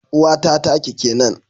Uwata taki kenan